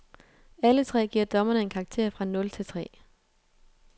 Alle tre giver dommerne en karakter fra nul til tre.